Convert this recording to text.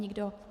Nikdo.